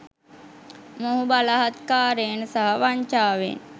මොහු බලහත්කාරයෙන් සහ වංචාවෙන්